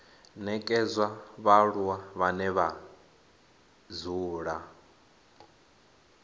nekedzwa vhaaluwa vhane vha dzula